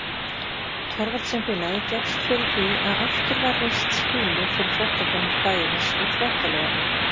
Thorvaldsensfélagið gekkst fyrir því að aftur var reist skýli fyrir þvottakonur bæjarins við Þvottalaugarnar.